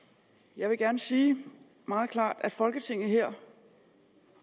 jeg vil gerne sige meget klart at folketinget her